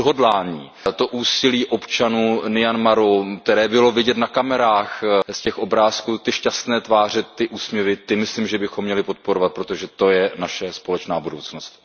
To odhodlání, to úsilí občanů v Myanmaru, které bylo vidět na kamerách z těch obrázků, ty šťastné tváře, ty úsměvy, ty myslím, že bychom měli podporovat, protože to je naše společná budoucnost.